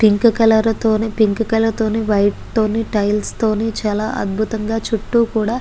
pink colour తోని pink colour తోని white టోనీ టైల్స్ తోని చాల అద్భుతంగా చుట్టూ కూడా --